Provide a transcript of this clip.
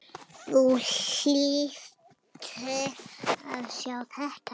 Þú hlýtur að sjá þetta.